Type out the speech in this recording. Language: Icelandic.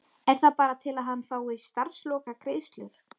Er það bara til að hann fái starfslokagreiðslur?